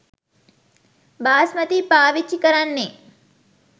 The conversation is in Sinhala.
බාස්මතී පාවිච්චි කරන්නේ